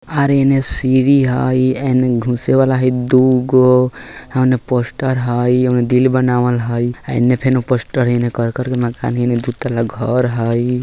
और येने सिरी हई येने घुसे वाला हई दुगो ओने पोस्टर हई ओने दिल बनावेल हई येने फेनो पोस्टर हई येने करकर के मकान हई ऐमे दो तला घर हई।